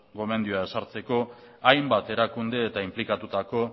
gomendioa ezartzeko hainbat erakunde eta inplikatutako